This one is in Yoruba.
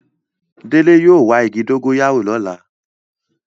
Dele yóò wa igi dogoyaro ni ọla